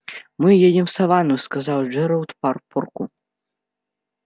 мы едем в саванну сказал джералд парпорку